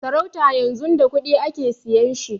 Sarauta yanzun da kuɗi ake siyan shi